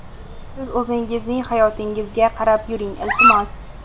Siz o‘zingizning hayotingizga qarab yuring, iltimos!!!